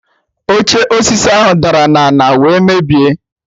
Oche osisi ahụ dara na ana wee mebie